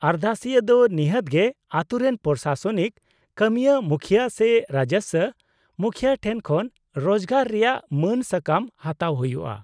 -ᱟᱨᱫᱟᱥᱤᱭᱟᱹ ᱫᱚ ᱱᱤᱦᱟᱹᱛ ᱜᱮ ᱟᱹᱛᱩ ᱨᱮᱱ ᱯᱨᱚᱥᱟᱥᱚᱱᱤᱠ ᱠᱟᱹᱢᱤᱭᱟᱹ ᱢᱩᱠᱷᱭᱟᱹ ᱥᱮ ᱨᱟᱡᱚᱥᱥᱚ ᱢᱩᱠᱷᱭᱟᱹ ᱴᱷᱮᱱ ᱠᱷᱚᱱ ᱨᱚᱡᱜᱟᱨ ᱨᱮᱭᱟᱜ ᱢᱟᱹᱱ ᱥᱟᱠᱟᱢ ᱦᱟᱛᱟᱣ ᱦᱩᱭᱩᱜᱼᱟ ᱾